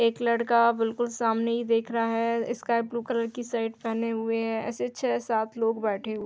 एक लड़का बिलकुल सामने ही देख रहा है। स्काई ब्लू कलर की शर्ट पहने हुए है। ऐसे छे छः-सात लोग बैठे --